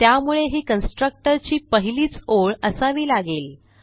त्यामुळे ही कन्स्ट्रक्टर ची पहिलीच ओळ असावी लागेल